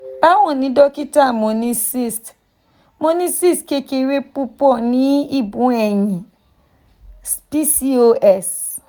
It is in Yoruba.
bawoni dokita mo ni cysts mo ni cysts kekere pupo ni ibu eyin (pcos)